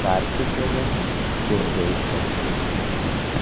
तार खींचे गए हैं जो रेल चलती है।